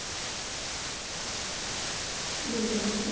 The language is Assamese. দুজ্নীয়ে